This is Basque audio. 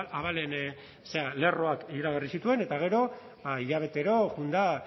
abalen zera lerroak iragarri zituen eta gero ba hilabetero joan da